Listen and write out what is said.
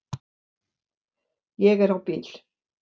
Ég er á bíl